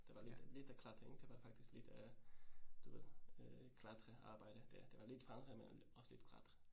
Det var lidt, lidt af klatringen, det var faktisk lidt øh du ved øh klatrearbejde. Det det var lidt vandring men øh også lidt klatring